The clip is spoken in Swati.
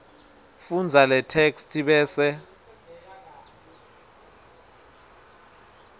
fundza letheksthi bese